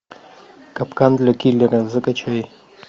капкан для киллера закачай